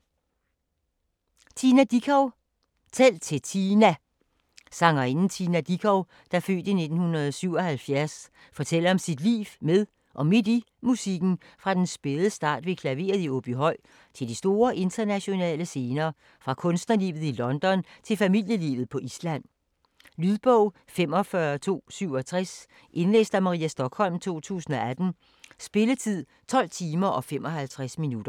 Dickow, Tina: Tæl til Tina Sangerinden Tina Dickow (f. 1977) fortæller om sit liv med og midt i musikken fra den spæde start ved klaveret i Åbyhøj til de store internationale scener, fra kunstnerlivet i London til familielivet på Island. Lydbog 45267 Indlæst af Maria Stokholm, 2018. Spilletid: 12 timer, 55 minutter.